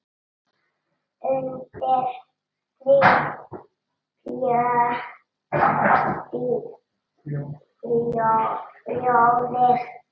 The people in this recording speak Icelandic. Undir því bjó bróðir